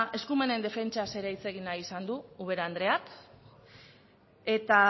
eskumenen defentsaz ere hitz egin nahi izan du ubera andereak eta